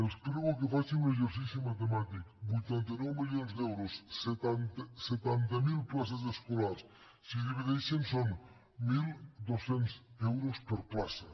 els prego que facin un exercici matemàtic vuitanta nou milions d’euros setanta mil places escolars si ho divideixen són mil dos cents euros per plaça